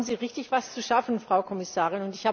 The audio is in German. Da haben Sie richtig etwas zu schaffen, Frau Kommissarin!